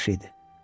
Yaxşı idi.